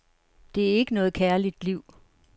Det er ikke noget kærligt liv.